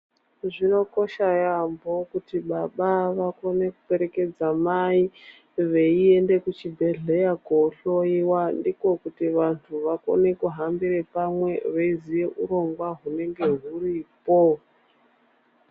Zvinokosha yaamho kuti baba vakone kupererekedza mai veiende kuchibhedhleya kohloyiwa ndiko kuti vantu vakone kuhambire pamwe veiziye urongwa hunenge huripo.